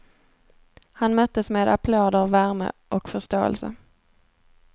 Han möttes med applåder, värme och förståelse.